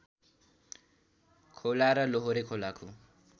खोला र लोहोरे खोलाको